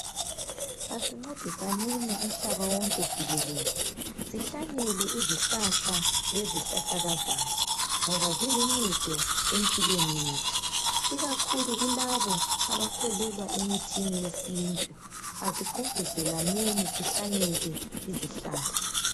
Asincedisaneni umhlaba wonke jikelele sihlanyele izihlahla lezihlahlakazana ngoba ziluncedo empilweni yethu ikakhulu kulabo abakholwelwa emithini yesintu asigqugquzaneni sihlanyele izihlahla